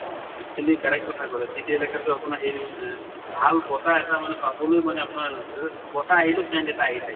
এইখিনি correct কথা কলা city এলেকাত তʼ আপোনাৰ হেৰি এহ ভাল বতাহ এটা মানে পাবলৈ মানে আপোনাৰ বতাহ আহিলেও scent এটা আহি থাকে